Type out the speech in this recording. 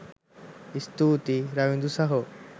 ස්තුතියි රවිදු සහෝ